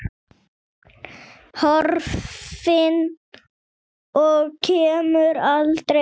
Horfin og kemur aldrei aftur.